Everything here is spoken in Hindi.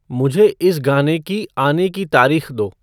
मुझे इस गाने की आने की तारीख़ दो